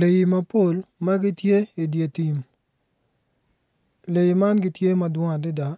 Lee mapol magitye i ditim lee man gitye madwong adada